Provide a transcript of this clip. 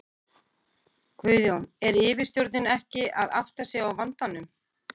Guðjón: Er yfirstjórnin ekki að átta sig á vandanum?